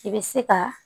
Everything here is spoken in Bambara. I bɛ se ka